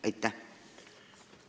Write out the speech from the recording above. Aitäh!